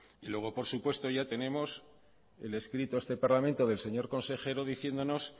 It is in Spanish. y luego por supuesto ya tenemos el escrito a este parlamento del señor consejero diciéndonos